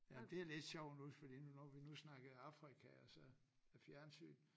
Ja det lidt sjovt nu fordi nu når vi nu snakkede Afrika og så fjernsyn